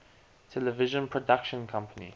television production company